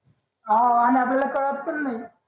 हाव अन्या बिल्या कळात पण नि